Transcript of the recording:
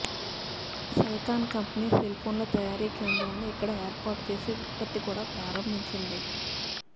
Celkon company సెల్ఫోన్ల తయారీ కేంద్రాన్ని ఇక్కడ ఏర్పాటు చేసి ఉత్పత్తి కూడా ప్రారంభించింది